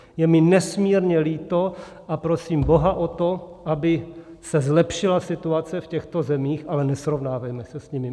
Je mi nesmírně líto a prosím boha o to, aby se zlepšila situace v těchto zemích, ale nesrovnávejme se s nimi.